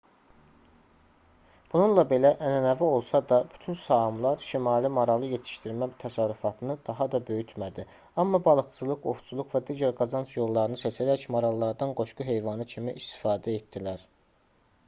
bununla belə ənənəvi olsa da bütün saamlar şimal maralı yetişdirmə təsərrüfatını daha da böyütmədi amma balıqçılıq ovçuluq və digər qazanc yollarını seçərək marallardan qoşqu heyvanı kimi istifadə etdilər